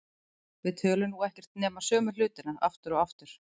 Við tölum nú um ekkert nema sömu hlutina aftur og aftur.